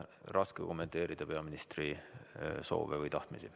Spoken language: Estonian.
Raske on kommenteerida peaministri soove või tahtmisi.